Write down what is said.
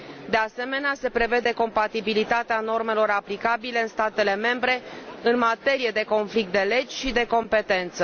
De asemenea, se prevede compatibilitatea normelor aplicabile în statele membre în materie de conflict de legi și de competență.